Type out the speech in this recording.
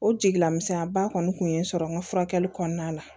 O jigila misɛnya ba kɔni tun ye n sɔrɔ n ka furakɛli kɔnɔna la